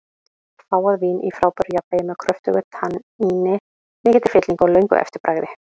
Fágað vín í frábæru jafnvægi, með kröftugu tanníni, mikilli fyllingu og löngu eftirbragði.